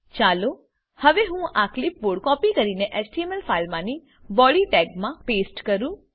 ચાલો હવે હું આ કલીપ બોર્ડ કોપી કરીને એચટીએમએલ ફાઈલમાની બોડી ટેગમા પેસ્ટ કરો